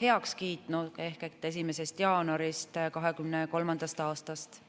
heaks kiitnud ehk 1. jaanuarist 2023. aastast.